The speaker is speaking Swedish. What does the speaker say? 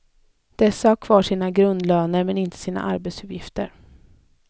Dessa har kvar sina grundlöner men inte sina arbetsuppgifter.